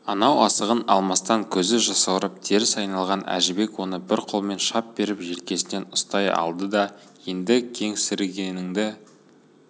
анау асығын алмастан көзі жасаурап теріс айналған әжібек оны бір қолымен шап беріп желкесінен ұстай алды да енді кеңсірігіндегі